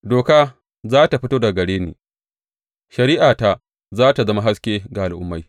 Doka za tă fito daga gare ni; shari’ata za tă zama haske ga al’ummai.